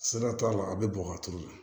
Siga t'a la a bɛ bɔn ka turu